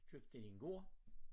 Købte de en gård